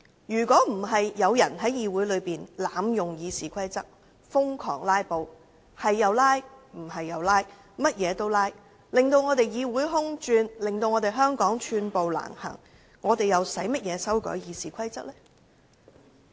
如果不是有人在議會內濫用《議事規則》，瘋狂地動輒"拉布"，導致議會"空轉"和令香港寸步難行，我們又何須修改《議事規則》呢？